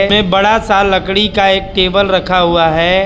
पे बड़ा सा लकड़ी का एक टेबल रखा हुआ है।